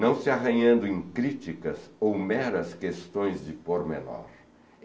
não se arranhando em críticas ou meras questões de pôr menor.